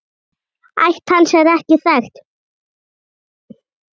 Ætt hans er ekki þekkt.